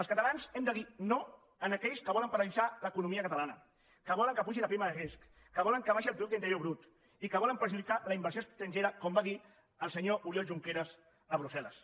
els catalans hem de dir no a aquells que volen paralitzar l’economia catalana que volen que pugi la prima de risc que volen que baixi el producte interior brut i que volen perjudicar la inversió estrangera com va dir el senyor oriol junqueras a brussel·les